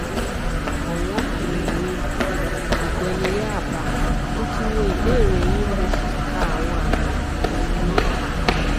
ọwọn um mi ògbẹniyáàbá mo ti wo ìbéèrè yín mo sì ka àwọn àmì um yín